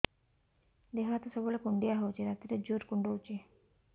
ଦେହ ହାତ ସବୁବେଳେ କୁଣ୍ଡିଆ ହଉଚି ରାତିରେ ଜୁର୍ କୁଣ୍ଡଉଚି